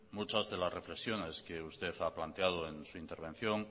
muchas de las reflexiones que usted ha planteado en su intervención